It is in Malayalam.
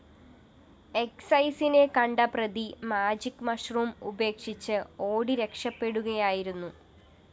എക്‌സൈസിനെ കണ്ട പ്രതി മാജിക്‌ മഷ്‌റൂം ഉപേക്ഷിച്ച് ഓടി രക്ഷപ്പെടുകയായിരുന്നു